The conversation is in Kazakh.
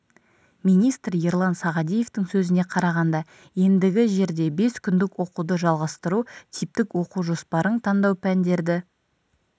министр ерлан сағадиевтің сөзіне қарағанда ендігі жерде бес күндік оқуды жалғастыру типтік оқу жоспарын таңдау пәндерді